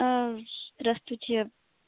здравствуйте